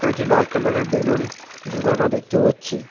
একটি লাল কালার -এর বেলুন ঝুলানো দেখতে পাচ্ছি।